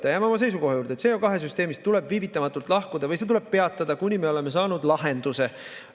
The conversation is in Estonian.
Me jääme oma seisukoha juurde, et CO2 süsteemist tuleb viivitamatult lahkuda või see tuleb peatada, kuni me oleme saanud lahenduse.